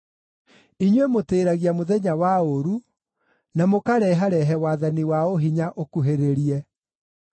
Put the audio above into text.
Inyuĩ mũtĩĩragia mũthenya wa ũũru, na mũkareharehe wathani wa ũhinya ũkuhĩrĩrie.